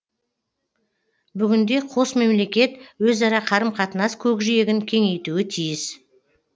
бүгінде қос мемлекет өзара қарым қатынас көкжиегін кеңейтуі тиіс